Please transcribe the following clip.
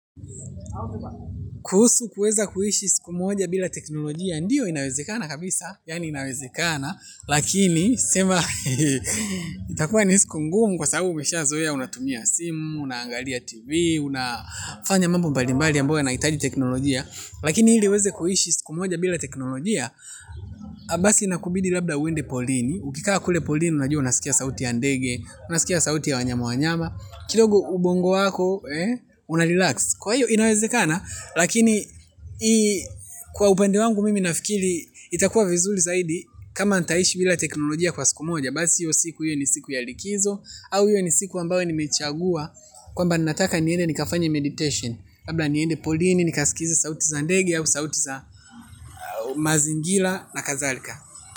Kuhusu kuweza kuishi siku moja bila teknolojia ndiyo inawezekana kabisa yaani inawezekana lakini sema itakuwa ni siku ngumu kwa sababu umeshazoea unatumia simu, unaangalia tv unafanya mambo mbalimbali ambayo yanahitaji teknolojia lakini ili uweze kuishi siku moja bila teknolojia basi inakubidi labda uende porini ukikaa kule porini unajua unasikia sauti ya ndege unasikia sauti ya wanyama wanyama kidogo ubongo wako unarelax kwa hiyo inawezekana lakini kwa upande wangu mimi nafikiri itakuwa vizuri zaidi kama nitaishi bila teknolojia kwa siku moja basi hiyo siku hiyo ni siku ya likizo au iwe ni siku ambayo nimechagua kwamba ninataka niende nikafanye meditation labla niende porini nikasikize sauti za ndege au sauti za mazingira na kadhalika.